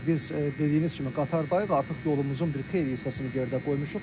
Bəli, biz dediyiniz kimi qatardayıq, artıq yolumuzun bir xeyli hissəsini yerdə qoymuşuq.